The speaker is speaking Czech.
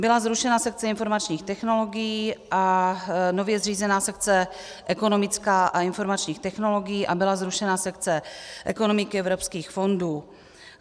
Byla zrušena sekce informačních technologií a nově zřízená sekce ekonomická a informačních technologií a byla zrušena sekce ekonomiky evropských fondů.